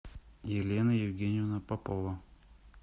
елена евгеньевна попова